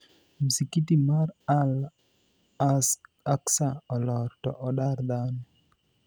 Msikiti mar Al-Aqsa olor to odar dhano.